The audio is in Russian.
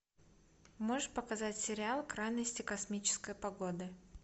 можешь показать сериал крайности космической погоды